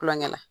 Kulonkɛ la